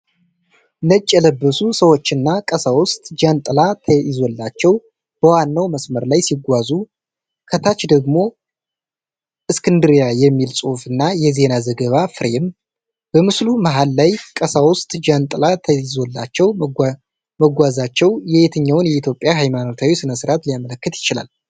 ነጭ የለበሱ ሰዎችና ቀሳውስት ጃንጥላ ተይዞላቸው በዋናው መስመር ላይ ሲጓዙ፣ ከታች ደግሞ “እስክንድርያ” የሚል ጽሑፍና የዜና ዘገባ ፍሬም ።በምስሉ መሃል ላይ ቀሳውስት ጃንጥላ ተይዞላቸው መጓዛቸው የየትኛውን የኢትዮጵያ ሃይማኖታዊ ሥነ ሥርዓት ሊያመለክት ይችላል?